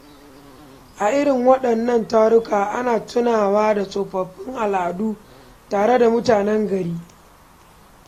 A irin waɗannan taruka, ana tunawa da tsofaffin al’adu tare da mutanen gari.